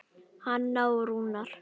Hanna og Rúnar.